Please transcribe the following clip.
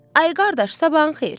Ay qardaş, sabahın xeyir.